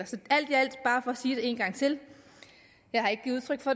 sige det en gang til jeg har ikke givet udtryk for